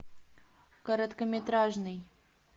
короткометражный